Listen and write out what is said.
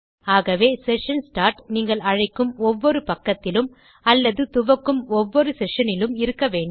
ஆகவே session start நீங்கள் அழைக்கும் ஒவ்வொரு பக்கத்திலும் அல்லது துவக்கும் ஒவ்வொரு செஷன் இலும் இருக்க வேண்டும்